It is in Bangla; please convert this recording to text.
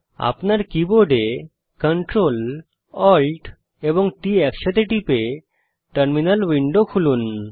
আপনার কীবোর্ড Ctrl Alt এবং T একসাথে টিপে টার্মিনাল উইন্ডো খুলুন